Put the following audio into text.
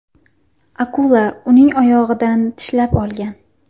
Akula uning oyog‘idan tishlab olgan.